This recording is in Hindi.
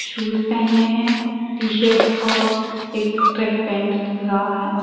शूज पहने हैं टी शर्ट और एक ट्रैक पैंट दिख रहा है।